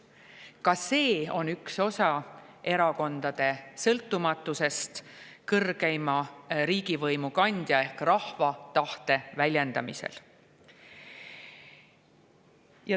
Ka see on üks osa erakondade sõltumatusest kõrgeima riigivõimu kandja ehk rahva tahte väljendamisel.